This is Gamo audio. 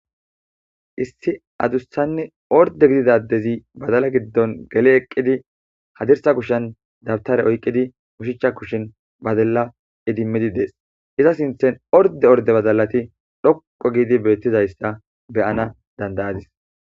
Issi adussanni orde gididadezi badala giddon gele eqqidi hadirsa kushan dabtare oyqqidi ushichcha kushin badalla idimmidi dees iza sinthen orde orde bazalati dhoqo giidi beettizayssa beyana dandayadis.